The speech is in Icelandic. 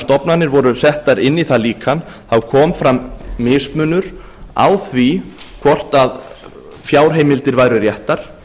stofnanir voru settar inn í það líkan kom fram mismunur á því hvort fjárheimildir væru réttar